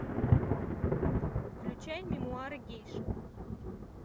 включай мемуары гейши